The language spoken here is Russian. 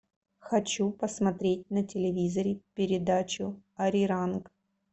хочу посмотреть на телевизоре передачу ариранг